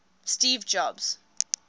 steve jobs